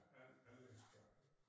Anlægsgardner